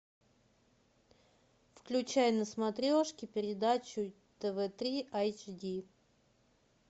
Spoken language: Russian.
включай на смотрешке передачу тв три айч ди